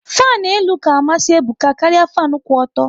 Fanu elu ka amasị Ebuka karịa fanu kwụ ọtọ